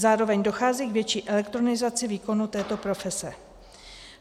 Zároveň dochází k větší elektronizaci výkonu této profese.